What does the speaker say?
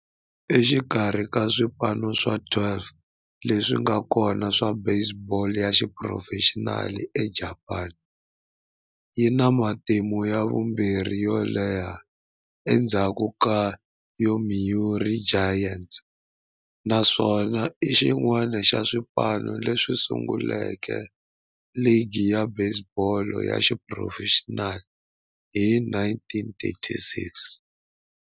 Exikarhi ka swipano swa 12 leswi nga kona swa baseball ya xiphurofexinali eJapani, yi na matimu ya vumbirhi yo leha endzhaku ka Yomiuri Giants, naswona i xin'wana xa swipano leswi sunguleke ligi ya baseball ya xiphurofexinali hi 1936.